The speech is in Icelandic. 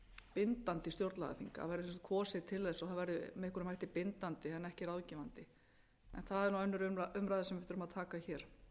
bindandi stjórnlagaþing það verði kosið til þess og það væri með einhverjum hætti bindandi en ekki ráðgefandi en það er nú önnur umræða sem við verðum taka hér